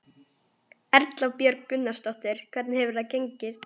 Guðný Helga Herbertsdóttir: Erum við að tala um milljarða?